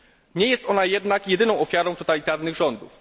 Nie jest ona jednak jedyną ofiarą totalitarnych rządów.